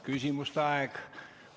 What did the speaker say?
Küsimuste aeg.